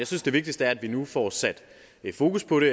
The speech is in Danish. synes det vigtigste er at vi nu får sat fokus på det